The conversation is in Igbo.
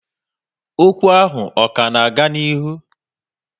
Ókwú ahụ ọ ka n'aga n'ihu?